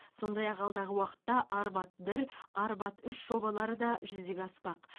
сондай ақ алдағы уақытта арбат бір арбат үш жобалары да жүзеге аспақ